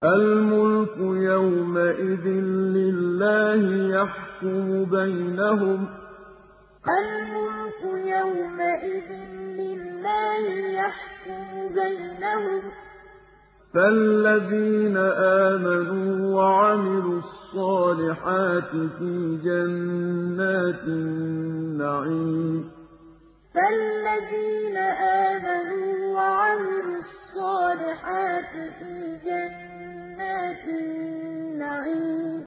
الْمُلْكُ يَوْمَئِذٍ لِّلَّهِ يَحْكُمُ بَيْنَهُمْ ۚ فَالَّذِينَ آمَنُوا وَعَمِلُوا الصَّالِحَاتِ فِي جَنَّاتِ النَّعِيمِ الْمُلْكُ يَوْمَئِذٍ لِّلَّهِ يَحْكُمُ بَيْنَهُمْ ۚ فَالَّذِينَ آمَنُوا وَعَمِلُوا الصَّالِحَاتِ فِي جَنَّاتِ النَّعِيمِ